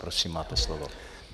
Prosím máte slovo.